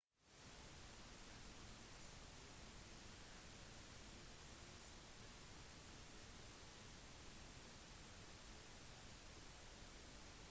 den vanligste typen turisme er den de fleste tenker på med reising rekreasjonsturisme